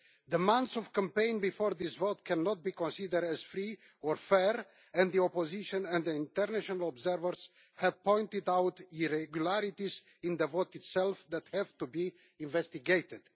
The months of campaigning before this vote cannot be considered as free or fair, and the Opposition and international observers have pointed out irregularities in the vote itself, which have to be investigated.